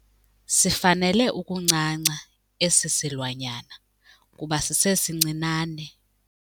Sifanele ukuncanca esi silwanyana kuba sisesincinane.